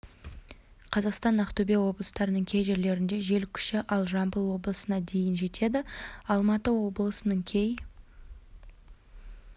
қазақстан ақтөбе облыстарының кей жерлерінде жел күші ал жамбыл облысында дейін жетеді алматы облысының кей